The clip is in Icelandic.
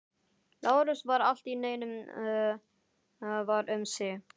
Lárus varð allt í einu var um sig.